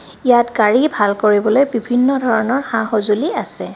ইয়াত গাড়ী ভাল কৰিবলৈ বিভিন্ন ধৰণৰ সা-সজুলি আছে.